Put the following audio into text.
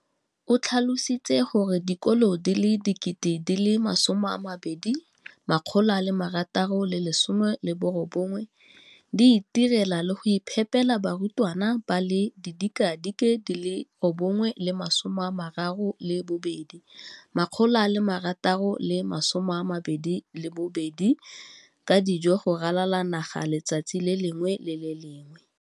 O tlhalositse gore dikolo di le 20 619 di itirela le go iphepela barutwana ba le 9 032 622 ka dijo go ralala naga letsatsi le lengwe le le lengwe.